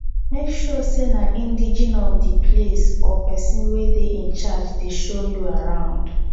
make sure say na indegene of di place or persin wey de in charge de show you arround